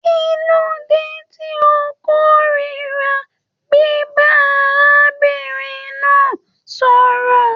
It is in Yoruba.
Kilode tí o kòrira biba arábìnrin náà sọ̀rọ̀?